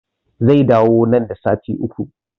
Zai dawo nan da sati Uku